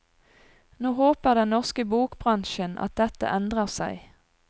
Nå håper den norske bokbransjen at dette endrer seg.